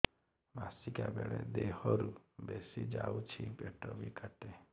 ମାସିକା ବେଳେ ଦିହରୁ ବେଶି ଯାଉଛି ପେଟ ବି କାଟେ